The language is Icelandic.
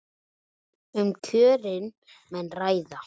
Um kjörin menn ræða.